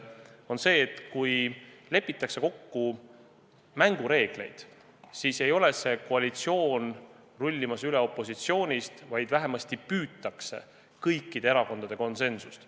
See on see, et kui lepitakse kokku mängureegleid, siis ei ole see koalitsioon rullimas üle opositsioonist, vaid vähemasti püütakse kõikide erakondade konsensust.